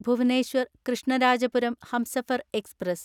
Bhubaneswar Krishnarajapuram Humsafar express